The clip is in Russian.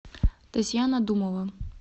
татьяна думова